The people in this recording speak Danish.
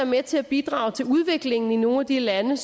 med til at bidrage til udviklingen i nogle af de lande